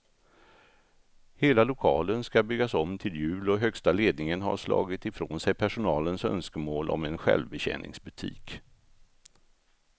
Hela lokalen ska byggas om till jul och högsta ledningen har slagit ifrån sig personalens önskemål om en självbetjäningsbutik.